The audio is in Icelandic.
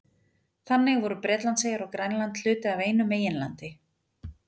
Þannig voru Bretlandseyjar og Grænland hluti af einu meginlandi.